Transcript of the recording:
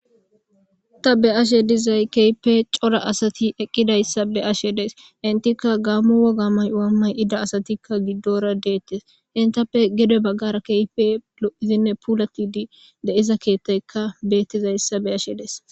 Ta be'ashe dizay keehippe cora asayi eqqida issa be'ashe daysi.entika gamo bagga mayuwa mayidagetika giddora detes. Gede baggara kehippe lo'idine pulatidi de'iza keeththayika de'iza be'ashe dayis.